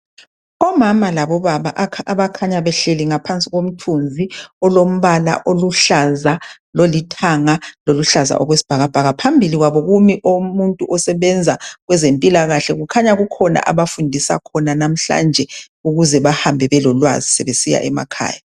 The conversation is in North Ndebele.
Omama labobaba abakhanya behleli ngaphansi komthunzi olombala uluhlaza lolithanga loluhlaza oluhlaza okwesibhakabhaka Phambi kwabo kume omunye osebenza kwezemphilakahle. Kukhanya kukhona abafundisa khona namhlanhe ukuze bahambe belolwazi besiya emakhaya